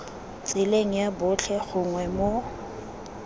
tseleng ya botlhe gongwe mo